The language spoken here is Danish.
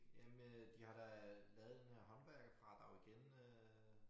Jamen de har de lavet den her håndværkerfradrag igen øh